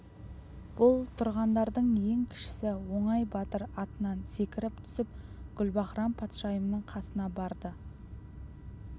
бұл тұрғандардың ең кішісі оңай батыр атынан секіріп түсіп гүлбаһрам-патшайымның қасына барды